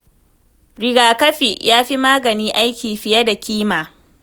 Riga kafi fa ya fi magani aiki fiye da kima.